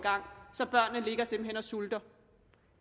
gang så børnene ligger simpelt hen og sulter